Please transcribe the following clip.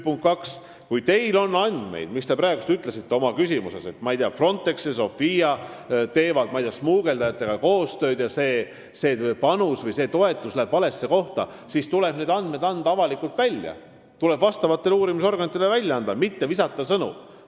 Punkt kaks, kui teil on andmeid selle kohta, mida te praegu mainisite oma küsimuses, et Frontex ja Sophia teevad, ma ei tea, smugeldajatega koostööd ja see panus või toetus läheb valesse kohta, siis tuleb need andmed avalikustada, need tuleb uurimisorganitele üle anda, mitte sõnu loopida.